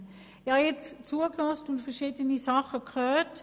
Ich habe nun zugehört und Verschiedenes herausgehört.